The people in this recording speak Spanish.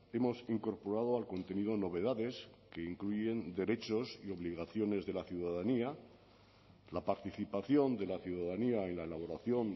hemos incorporado al contenido novedades que incluyen derechos y obligaciones de la ciudadanía la participación de la ciudadanía en la elaboración